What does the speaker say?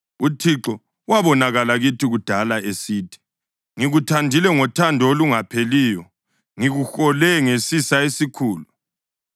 UThixo wabonakala kithi kudala esithi: “Ngikuthandile ngothando olungapheliyo; ngikuhole ngesisa esikhulu.